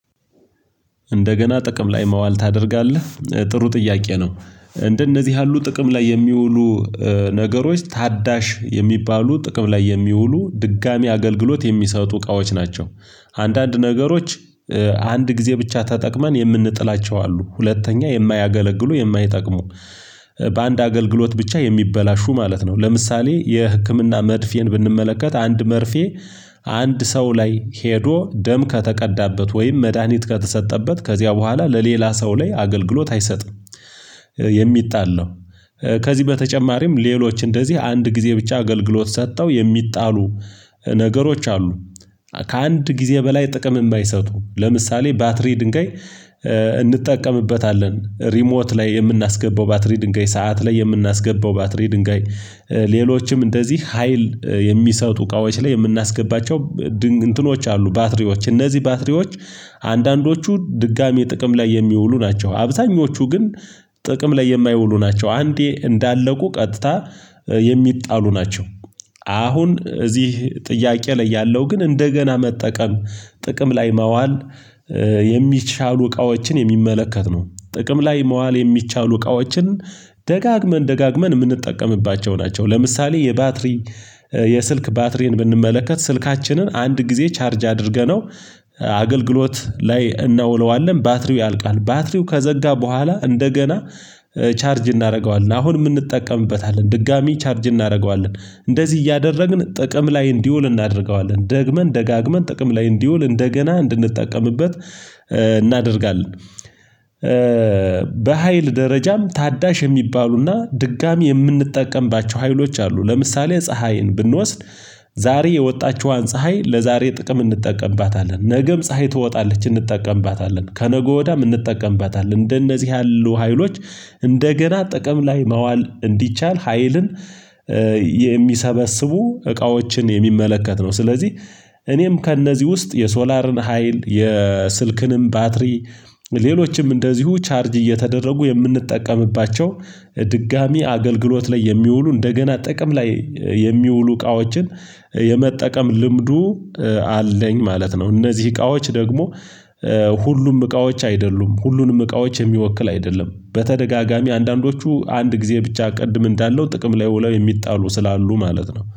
እንደገና ጥቅም ላይ መዋል ታደርጋለህ ጥሩ ጥያቄ ነው እንደነዚህ ያሉ ጥቅም ላይ የሚውሉ ነገሮች ታዳሽ የሚባሉ ጥቅም ላይ የሚውሉ ድጋሚ አገልግሎት የሚሰጡ እቃዎች ናቸው። አንዳንድ ነገሮች አንድ ጊዜ ብቻ ተጠቅመን የምንጥላቸው አሉ ሁለተኛ የማያገለግሉ የማይጠቅሙ በአንድ አገልግሎት ብቻ የሚበላሹ ማለት ነው። ለምሳሌ የህክምና መርፌን ብንመለከት አንድ መርፌ አንድ ሰው ላይ ሄዶ ደም ከተቀዳበት ወይም መድሃኒት ከተሰጠበት ከዚያ በኋላ ለሌላ ሰው ላይ አገልግሎት አይሰጥም የሚጣል ነው። ከዚህ በተጨማሪም ሌሎች እንደዚህ አንድ ጊዜ ብቻ አገልግሎት ሰጥተው የሚጣሉ ነገሮች አሉ። ከአንድ ጊዜ በላይ ጥቅም የማይሰጡ ለምሳሌ ባትሪ ድንጋይ እንጠቀምበታለን ሪሞት ላይ የምናስገባው ባትሪ ድንጋይ ሰዓት ላይ የምናስገባው ባትሪ ድንጋይ ሌሎችም እንደዚህ ሀይል የሚሰጡ እቃዎች ላይ የምናስገባቸው እንትኖች አሉ። ባትሪዎች እነዚህ ባትሪዎች አንዳንዶቹ ድጋሚ ጥቅም ላይ የሚውሉ ናቸው አብዛኞቹ ግን ጥቅም ላይ የማይውሉ ናቸው አንዴ እንዳለቁ ቀጥታ የሚጣሉ ናቸው። አሁን እዚህ ጥያቄ ላይ ያለው ግን እንደገና መጠቀም ጥቅም ላይ መዋል የሚቻሉ እቃዎችን የሚመለከት ነው። ጥቅም ላይ መዋል የሚቻል እቃዎችን ደጋግመን ደጋግመን የምንጠቀምባቸው ናቸው። ለምሳሌ የባትሪ የስልክ ባትሪን ብንመለከት ስልካችንን አንድ ጊዜ ቻርጅ አድርገነው አገልግሎት ላይ እናውለዋለን ባትሪው ያልቃል ባትሪው ከዘጋ በኋላ እንደገና ቻርጅ እናደርገዋለን። አሁን የምንጠቀምበት አለን ድጋሚ ቻርጅ እናደርገዋለን እንደዚህ እያደረግን ጥቅም ላይ እንዲውል እናደርገዋለን ደግመን ደጋግመን ጥቅም ላይ እንዲውል እንደገና እንድንጠቀምበት እናደርጋለን። በሃይል ደረጃም ታዳሽ የሚባሉና ድጋሚ የምንጠቀምባቸው ሀይሎች አሉ። ለምሳሌ ፀሀይን ብንወስድ ዛሬ የወጣችዋን ፀሀይ ለዛሬ ጥቅም እንጠቀምባታለን ነገም ፀሀይ ትወጣለች እንጠቀምባታለን ከነገ ወዲያም እንጠቀምባታለን እንደነዚህ ያሉ ሀይሎች እንደገና ጥቅም ላይ መዋል እንዲቻል ሀይልን የሚሰበስቡ እቃዎችን የሚመለከት ነው። ስለዚህ እኔም ከእነዚህ ውስጥ የሶላርን ሀይል የስልክንም ባትሪ ሌሎችም እንደዚሁ ቻርጅ እየተደረጉ የምንጠቀምባቸው ድጋሚ አገልግሎት ላይ የሚውሉ እንደገና ጥቅም ላይ የሚውሉ እቃዎችን የመጠቀም ልምዱ አለኝ ማለት ነው። እነዚህ እቃዎች ደግሞ ሁሉም እቃዎች አይደሉም ሁሉንም እቃዎች የሚወክል አይደለም በተደጋጋሚ አንዳንዶቹ አንድ ጊዜ ብቻ ቅድም እንዳለው ጥቅም ላይ ውለው የሚጣሉ ስላሉ ማለት ነው